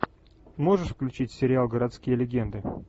можешь включить сериал городские легенды